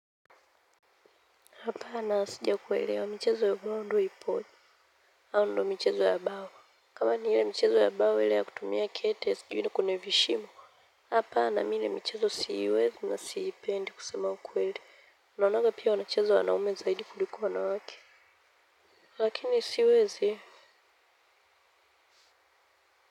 Hapana sijakuwelewa michezo ya ubao ndio ipoje au ndio michezo ya bao kama ni hiyo michezo ya bao ya kutumia kete sijui ya kwenye vishimo hapana mi ile michezo siwezi na siipendi kusema ukweli. Naonaga pia wanacheza wanaume zaidi kuliko wanawake lakini siwezi.